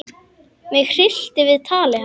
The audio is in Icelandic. Mig hryllti við tali hans.